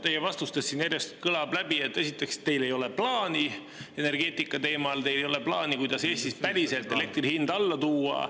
Teie vastustest siin järjest kõlab läbi, et teil ei ole energeetikaplaani, teil ei ole plaani, kuidas Eestis päriselt elektri hind alla tuua.